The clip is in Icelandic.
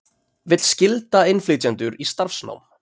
Vill skylda innflytjendur í starfsnám